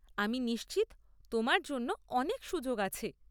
আমি নিশ্চিত তোমার জন্য অনেক সুযোগ আছে।